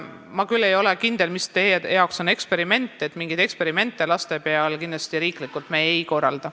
Ma ei ole küll kindel, mis on teie jaoks eksperiment, aga riiklikult me laste peal kindlasti mingeid eksperimente ei korralda.